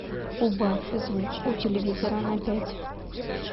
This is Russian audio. убавь звук у телевизора на пять